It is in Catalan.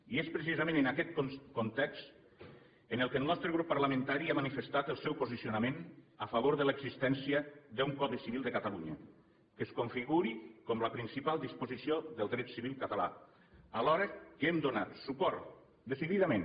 i és precisament en aquest context en què el nostre grup parlamentari ha manifestat el seu posicionament a favor de l’existència d’un codi civil de catalunya que es configuri com la principal disposició del dret civil català alhora que hem donat suport decididament